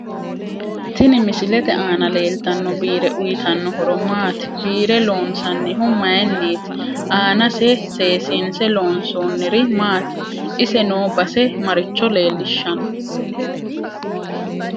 Tini misilete aana leeltano biire uyiitanno horo maati biire loonsanihu mayiiniti aanase seesinse loonsooniri maati ise noo base maricho leelishanno